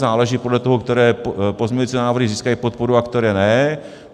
Záleží podle toho, které pozměňovací návrhy získají podporu a které ne.